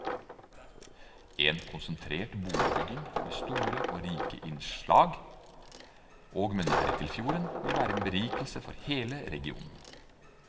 En konsentrert boligbygging, med store og rike innslag, og med nærhet til fjorden, vil være en berikelse for hele regionen.